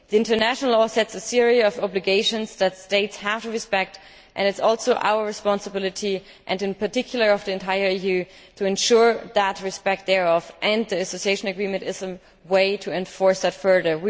International law sets a series of obligations that states have to respect, and it is also our responsibility, and in particular of the entire EU, to ensure that respect thereof enters the association agreement as a way to enforce that further.